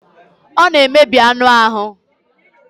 Ọ na emebi anụ ahụ.